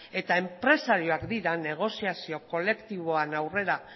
eta enpresariak dira negoziazio kolektiboan aurrera